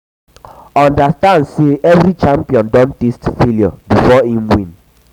understand say every champion don taste failure before im win